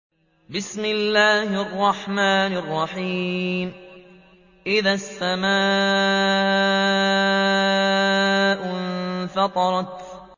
إِذَا السَّمَاءُ انفَطَرَتْ